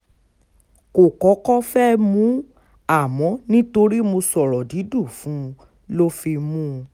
kò kọ́kọ́ fẹ́ẹ́ mú un àmọ́ nítorí mo sọ̀rọ̀ dídùn fún un ló fi mú un